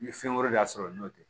N ye fɛn wɛrɛ de sɔrɔ n'o tɛ